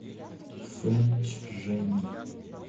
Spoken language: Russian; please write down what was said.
фэнчжэнь